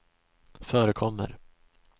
förekommer